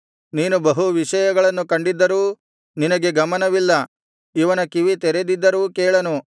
ನೀನು ಬಹು ವಿಷಯಗಳನ್ನು ಕಂಡಿದ್ದರೂ ನಿನಗೆ ಗಮನವಿಲ್ಲ ಇವನ ಕಿವಿ ತೆರೆದಿದ್ದರೂ ಕೇಳನು